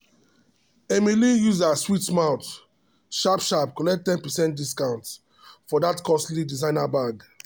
emily use her sweet mouth sharp sharp collect ten percent discount for that costly designer bag.